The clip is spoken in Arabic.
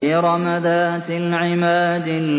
إِرَمَ ذَاتِ الْعِمَادِ